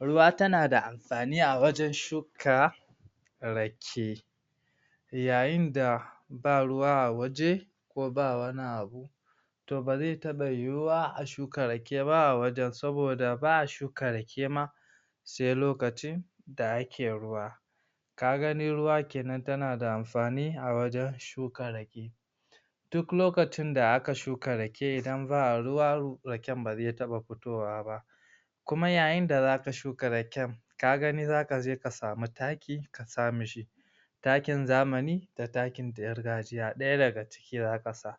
Ruwa tana da amfani a wajen shuka rake yayin da ba ruwa a waje ko ba wani abu to ba zai taɓa yiwuwa a shuka rake ba a wajen saboda ba a shuka rage ma sai lokacin da ake ruwa ka gani ruwa kenan tana amfani a wajen shuka rake duk lokacin da aka shuka rake idan ba ruwa raken ba zai taɓa fitowa ba kuma yayin da zaka shuka raken ka gani zaka je ka samu taki ka sa mishi takin zamani da takin gargajiya ɗaya daga cikewan ƙasa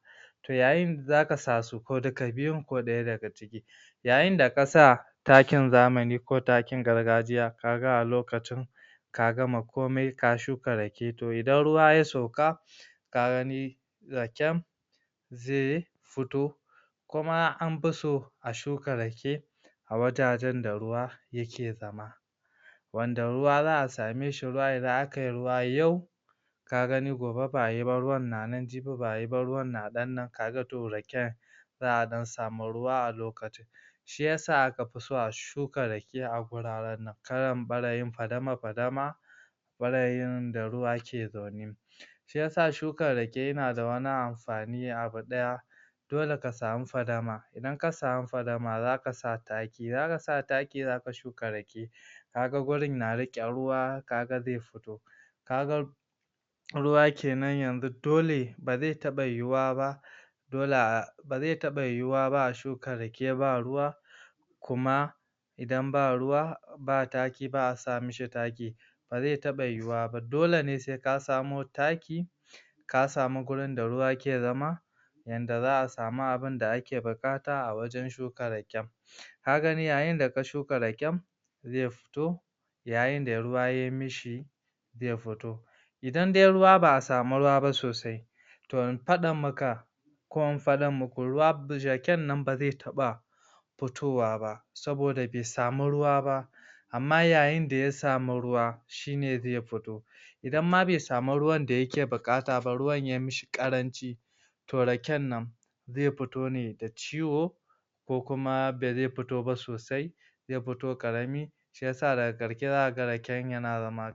yayin da zaka sa su ko duka biyun ko ɗaya daga ciki yayin da ka sa takin zamani ko takin gargajiya ka ga a lokacin ka gama komai ka shuka rake to idan ruwa ya sauka ka gani raken zai fito kuma an fi so a shuka rake a wajajen da ruwa yake zama wanda ruwa za a same shi idan aka yi ruwa yau ka gani gobe ba a yi ba ruwan na nan jibi ba a yi ba ruwan na ɗan nan ka ga to raken za a ɗan samu ruwa a lokacin shiyasa aka fi so a shuka rake a guraren nan kalan ɓarayin fadama fadama ɓarayin da ruwa ke zaune shiyasa shuka rake yana da amfani abu ɗaya dole ka samu fadama idan ka samu fadama zaka sa taki idan aka sa taki zaka shuka rake ka ga gurin na riƙe ruwa ka ga zai fito kaga ruwa kenan yanzu dole ba zai taɓa yiwuiwa ba dole ba zai taɓa yiwuwa ba a shuka rake ba ruwa kuma idan ba ruwa ba taki ba a sa mishi taki ba zai taɓa yiwuwa ba dole ne sai ka samo taki ka samu gurin da ruwa ke zama yanda za a samu abunda ake buƙata a wajen shuka raken ka gani a inda ka shuka raken zai fito yayin da ruwa ya mishi zai fito idan dai ruwa ba a samu ruwa ba sosai to in faɗa maka ko in faɗa muku raken nan ba zai taɓa fitowa ba saboda bai samu ruwa ba amma yayin da ya samu ruwa shine zai fito idan ma bai samu ruwan da yake buƙata ba ruwan yayi mishi ƙaranci to raken nan zai fito ne da ciwo ko kuma ba zai fito ba sosai zai fito ƙarami shiyasa daga ƙarshe zaka ga raken yana zama